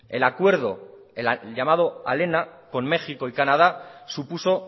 el acuerdo el llamado aléna con méxico y canadá supuso